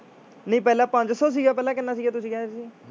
ਨਹੀਂ ਪਹਿਲਾਂ ਪੰਜ ਸੌ ਸੀਗਾ ਪਹਿਲਾਂ ਕਿੰਨਾ ਸੀਗਾ ਤੁਸੀਂ ਕਹਿੰਦੇ ਸੀ।